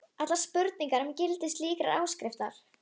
Þeir réðust á fjölskylduna og stundum bara á mig eina.